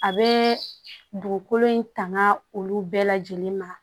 A bɛ dugukolo in tanga olu bɛɛ lajɛlen ma